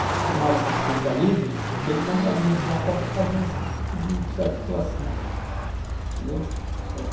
acostumado com o consistencialismo, que ele tem um gabinete lá só para fazer esse tipo de desarticulação, entendeu, eh